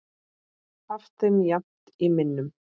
haft þeim jafnt í minnum.